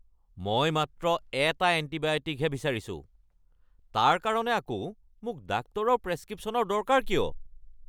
মই মাত্ৰ এটা এণ্টিবায়'টিকহে বিচাৰিছোঁ! তাৰ কাৰণে আকৌ মোক ডাক্তৰৰ প্ৰেছক্ৰিপশ্যনৰ দৰকাৰ কিয়?